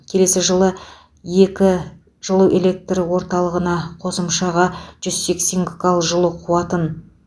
келесі жылы екі жылу электр орталығына қосымшаға жүз сексен гкал жылу қуатын